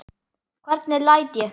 Hvernig læt ég.